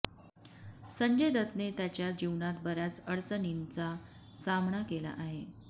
संजय दत्तने त्याच्या जीवनात बऱ्याच अडचणींचा सामना केला आहे